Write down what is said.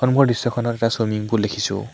সম্মুখৰ দৃশ্যখনত এটা swimming pool দেখিছোঁ।